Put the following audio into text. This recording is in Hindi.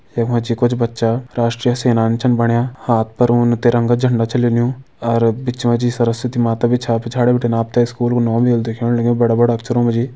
यख मा जी कुछ बच्चा राष्ट्रीय सेनानी छन बण्या हाथ पर उन तिरंगा झंडा छ लिन्यू अर बिच मा जी सरस्वती माता भी छा पिछाड़ी बिटिन आप ते स्कूल कु नौ भी होलु दिखेण लग्युं बड़ा बड़ा अक्षरों मा जी।